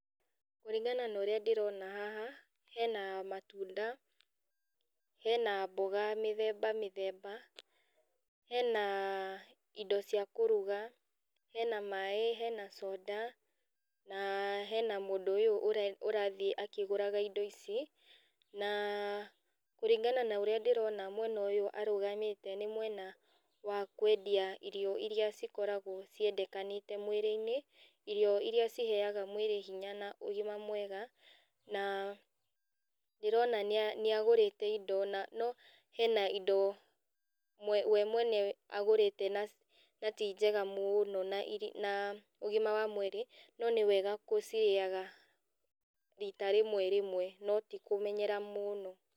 Kũringana na ũrĩa ndĩrona haha, hena matunda, hena mboga mĩthemba mĩthemba, hena indo cia kũruga, hena maĩ, hena soda, na hena mũndũ ũyũ ũre ũrathiĩ akĩgũraga indo ici, na kũringana na ũrĩa ndĩrona mwena ũyũ arũgamĩte nĩ mwena wa kwendia irio iria cikoragwo ciendekanĩte mwĩrĩinĩ, irio iria ciheaga mwĩrĩ hinya na ũgima mwega, na ndĩrona nĩ nĩagũrĩte indo na no hena indo we mwene agũrĩte na ti njega mũno na na ũgima wa mwĩrĩ, no nĩ wega gũcirĩaga rita rĩmwe rĩmwe, no ti kũmenyera mũno.